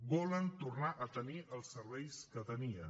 volen tornar a tenir els serveis que tenien